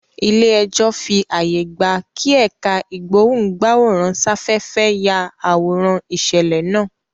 Ilé ẹjọ́ fí ààyè gbà kí ẹ̀ká ìgbóhùn-gbáwòrán-sáfẹ́fẹ́ yá àwòrán ìṣẹ̀lẹ̀ náà